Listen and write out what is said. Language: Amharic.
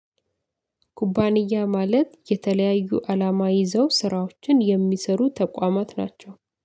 ኩባንያ ማለት የተለያዩ አላማ ይዘው ስራዎችን የሚሰሩ ተቋማት ናቸው።